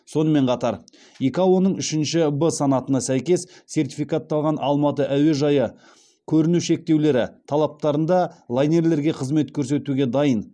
сонымен қатар икао ның үшінші в санатына сәйкес сертификатталған алматы әуежайы көріну шектеулері талаптарында лайнерлерге қызмет көрсетуге дайын